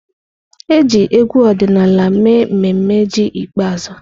E ji egwu ọdịnala mee mmemme ji ikpeazụ.